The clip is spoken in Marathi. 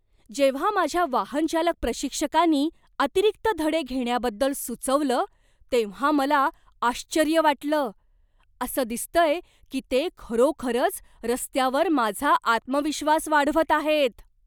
जेव्हा माझ्या वाहनचालक प्रशिक्षकानी अतिरिक्त धडे घेण्याबद्दल सुचवलं तेव्हा मला आश्चर्य वाटलं. असं दिसतंय की ते खरोखरच रस्त्यावर माझा आत्मविश्वास वाढवत आहेत.